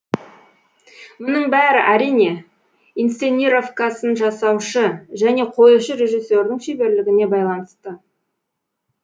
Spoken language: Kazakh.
мұның бәрі әрине инсценировкасын жасаушы және қоюшы режиссердің шеберлігіне байланысты